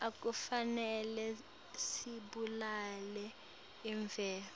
akufanele sibulale imvelo